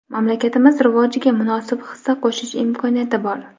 mamlakatimiz rivojiga munosib hissa qo‘shish imkoniyati bor!.